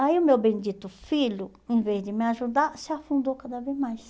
Aí o meu bendito filho, em vez de me ajudar, se afundou cada vez mais.